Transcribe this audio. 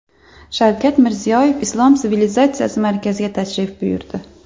Shavkat Mirziyoyev Islom sivilizatsiyasi markaziga tashrif buyurdi.